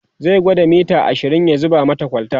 zai gwada mita ashirin ya zuba mata kwalta